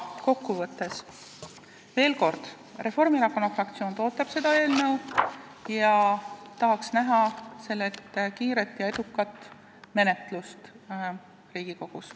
Kokkuvõtteks veel kord: Reformierakonna fraktsioon toetab seda eelnõu ning me tahaks näha selle kiiret ja edukat menetlust Riigikogus.